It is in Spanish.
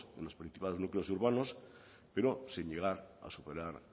en los principales núcleos urbanos pero sin llegar a superar